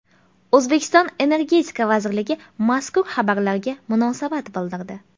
O‘zbekiston Energetika vazirligi mazkur xabarlarga munosabat bildirdi .